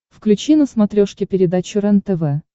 включи на смотрешке передачу рентв